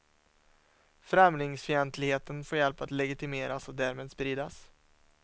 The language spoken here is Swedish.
Främlingsfientligheten får hjälp att legitimeras och därmed spridas.